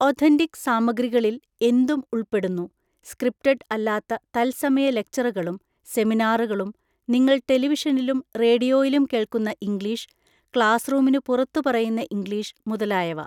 Authentic സാമഗ്രികാളില് എന്തും ഉള്‍പ്പെടുന്നു, സ്ക്രിപ്റ്റഡ് അല്ലാത്ത തത്സമയ ലെക്ചറുകളും സെമിനാറുകളും നിങ്ങള്‍ ടെലിവിഷനിലും റേഡിയോയിലും കേള്‍ക്കുന്ന ഇംഗ്ലീഷ് ക്ലാസ്സ്റൂമിന് പുറത്തു പറയുന്ന ഇംഗ്ലീഷ് മുതലായവ.